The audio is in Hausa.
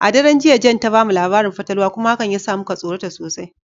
A daren jiya, Jane ta mu labarin fatalwa kuma hakan ya sa muka tsorata sosai.